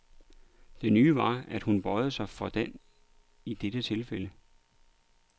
Det nye var, at hun bøjede sig for den i dette tilfælde.